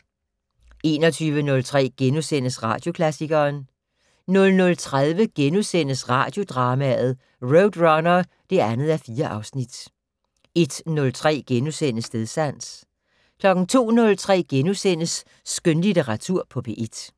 21:03: Radioklassikeren * 00:30: Radiodrama: RoadRunner (2:4)* 01:03: Stedsans * 02:03: Skønlitteratur på P1 *